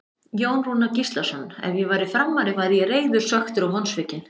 Jón Rúnar Gíslason Ef ég væri Framari væri ég reiður, svekktur og vonsvikinn.